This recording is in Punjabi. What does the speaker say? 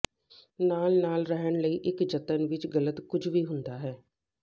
ਨਾਲ ਨਾਲ ਰਹਿਣ ਲਈ ਇੱਕ ਜਤਨ ਵਿੱਚ ਗਲਤ ਕੁਝ ਵੀ ਹੁੰਦਾ ਹੈ